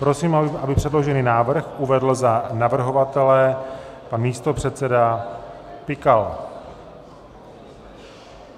Prosím, aby předložený návrh uvedl za navrhovatele pan místopředseda Pikal.